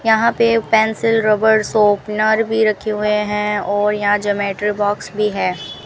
यहां पे pencil rubber sharpener भी रखे हुए हैं और यहां ज्योमेट्री बॉक्स भी है।